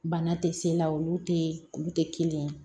Bana tɛ se la olu tɛ olu tɛ kelen ye